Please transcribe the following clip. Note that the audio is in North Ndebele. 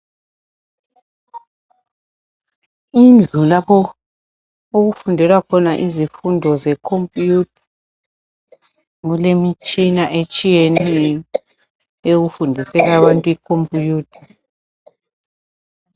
Indlu lapho okufundelwa khona izifundo zekhomputha , kulemitshina etshiyeneyo yokufundisela abantu ikhomputha.